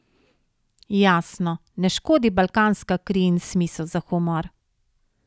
Jasno, ne škodi balkanska kri in smisel za humor.